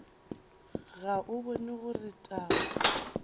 ga o bone gore taba